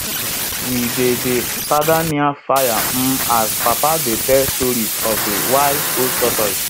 we dey dey father near fire um as papa dey tell stories of de wise old tortoise